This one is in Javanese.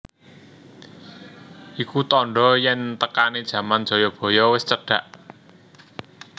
Iku tandha yen tekane jaman Jayabaya wis cedhak